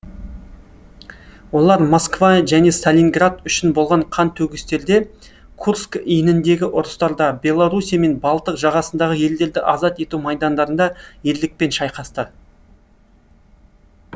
олар москва және сталинград үшін болған қан төгістерде курск иініндегі ұрыстарда белоруссия мен балтық жағасындағы елдерді азат ету майдандарында ерлікпен шайқасты